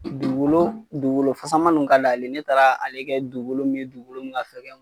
Dugukolo dugukolo fasaman nuw ka ka di ale ye ne taara ale kɛ dugukolo min ye dugukolo min ka fɛgɛn